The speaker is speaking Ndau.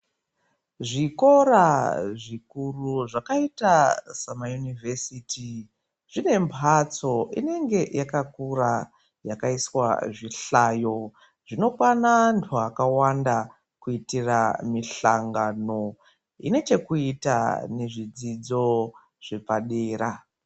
Zvikora zvikuru zvakaita semaunivhesiti zvinemhatso inenge yakakura yakaiswa zvihlayo zvinokwana antu akawanda. Kuitira mishangano inechekuita nezvidzidzo zvepadera.